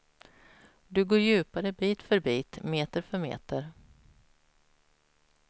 Du går djupare bit för bit, meter för meter.